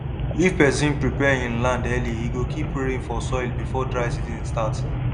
if person prepare him land early e go keep rain for soil before dry season start